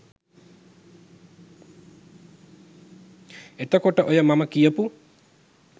එතකොට ඔය මම කියපු